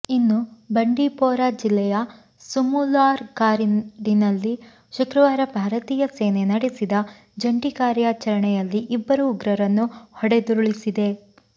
ಇನ್ನು ಬಂಡೀಪೊರಾ ಜಿಲ್ಲೆಯ ಸುಮುಲಾರ್ ಕಾಡಿನಲ್ಲಿ ಶುಕ್ರವಾರ ಭಾರತೀಯ ಸೇನೆ ನಡೆಸಿದ ಜಂಟಿ ಕಾರ್ಯಾಚರಣೆಯಲ್ಲಿ ಇಬ್ಬರು ಉಗ್ರರನ್ನು ಹೊಡೆದುರುಳಿಸಿದೆ